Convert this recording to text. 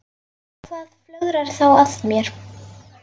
Og hvað flögrar þá að mér?